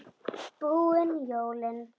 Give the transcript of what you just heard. Búin jólin.